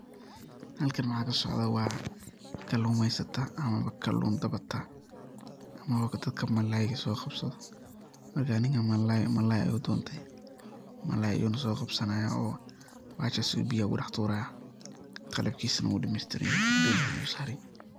Halkan waxa kasocda wa kalumesata ama kalun qabata ama dadka malay soqabsadho, weli ninkan malay ayu donte malay ayu nah soqabsanaya oo bahashas ayu biyu kudax turaya qalabkisa nah wu dameystiranyahy.